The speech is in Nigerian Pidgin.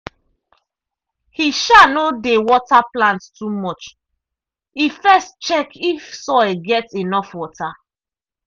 he um no dey water plants too much; e first check if soil get enough water.